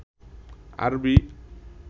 আরবি